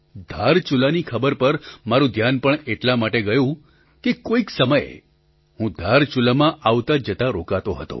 ધારચુલાની ખબર પર મારું ધ્યાન પણ એટલા માટે ગયું કે કોઈક સમયે હું ધારચુલામાં આવતાજતાં રોકાતો હતો